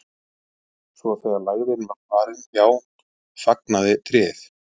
svo þegar lægðin var farin hjá fagnaði tréð